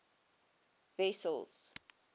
wessels